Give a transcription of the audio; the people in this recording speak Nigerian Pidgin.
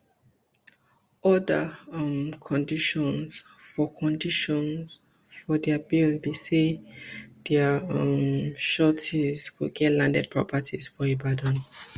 oda um conditions for conditions for dia bail be say dia um sureties go get landed property for ibadan